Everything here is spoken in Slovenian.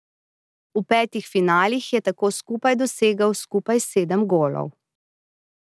V petih finalih je tako skupaj dosegel skupaj sedem golov.